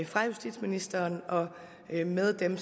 fra justitsministeren og med dem